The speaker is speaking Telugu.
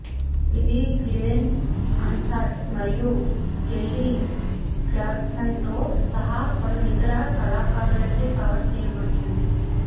ఇది గ్లెన్ హన్సార్డ్ మరియు కెల్లీ క్లార్క్సన్తో సహా పలు ఇతర కళాకారులచే కవర్ చేయబడింది